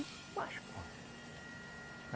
Mas quanto?